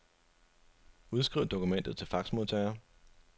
Udskriv dokumentet til faxmodtager.